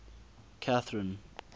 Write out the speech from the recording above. catherine